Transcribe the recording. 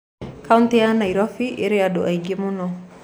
Kautĩ ya Nairobi ĩrĩ andũ aingĩ mũno